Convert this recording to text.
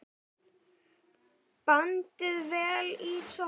Bandið vel í sokka.